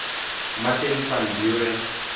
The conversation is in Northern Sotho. martin van buren